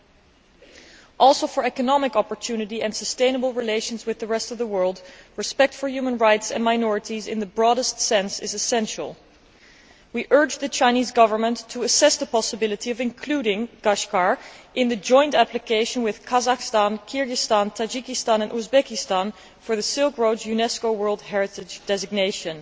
In the interests of economic opportunity and sustainable relations with the rest of the world, respect for human rights and minorities in the broadest sense is essential. We urge the Chinese Government to assess the possibility of including Kashgar in the joint application with Kazakhstan, Kyrgyzstan, Tajikistan and Uzbekistan for the Silk Road UNESCO world heritage designation.